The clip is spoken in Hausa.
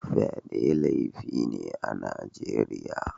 Fyade laifi ne a Najeriya